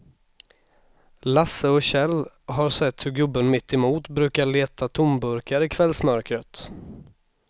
Lasse och Kjell har sett hur gubben mittemot brukar leta tomburkar i kvällsmörkret.